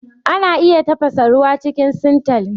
Ana iya tafasa ruwa cikin sintali